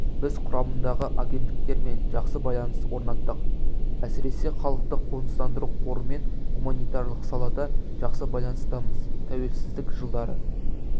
біз құрамындағы агенттіктермен жақсы байланыс орнаттық әсіресе халықты қоныстандыру қорымен гуманитарлық салада жақсы байланыстамыз тәуелсіздік жылдары